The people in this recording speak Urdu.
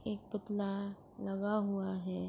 ایک پتلا لگا ہوا ہے۔